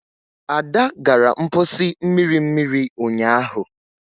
Ada gara mposi mmiri mmiri unyahu.